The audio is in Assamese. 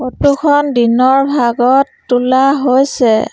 ফটো খন দিনৰ ভাগত তোলা হৈছে।